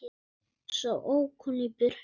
Svo ók hún í burtu.